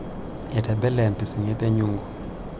Etebele empising'et enyungu.